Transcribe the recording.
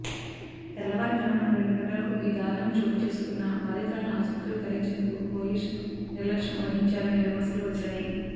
తెల్లవారుజామున రెండు గంటలకు ఈ దారుణం చోటు చేసుకున్నా బాధితురాలిని ఆసుపత్రికి తరలించేందుకు పోలీసులు నిర్లక్ష్యం వహించారనే విమర్శలు వచ్చాయి